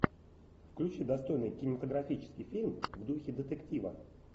включи достойный кинематографический фильм в духе детектива